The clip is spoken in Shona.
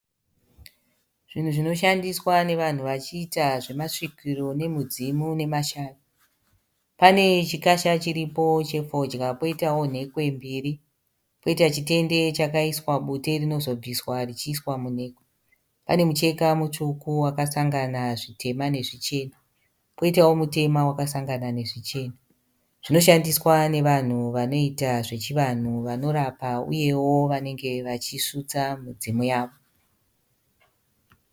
Zvinhu zvinoshandiswa nevanhu vachiita zvemasvikiro, nemudzimu nemashavi. Pane chikasha chiripo chefodya. Poitawo nhekwe mbiri. Poita chitende chakaiswa bute rinozobviswa richiiswa munhekwe. Pane mucheka mutsvuku wakasangana zvitema nezvichena. Koitawo mutema wakasangana nezvichena. Zvinoshandiswa nevanhu vanoita zvechivanhu vanorapa uyewo vanenge vachisutsa midzimu yavo.